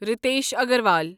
Ritesh Agarwal